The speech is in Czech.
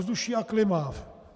Ovzduší a klima.